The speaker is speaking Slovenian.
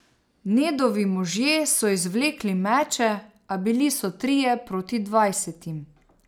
Nedovi možje so izvlekli meče, a bili so trije proti dvajsetim.